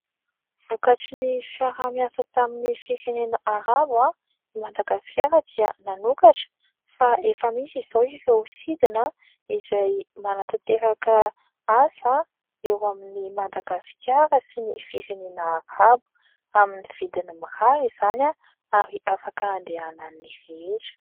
Vokatry ny fiaraha-miasa tamin'ny firenena Arabo. Madagasikara dia nanokatra fa efa misy izao ireo sidina izay manantanteraka asa eo amin'i Madagasikara sy ny firenena Arabo amin'ny vidiny mirary izany ary afaka andehanan'ny rehetra.